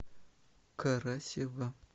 карасева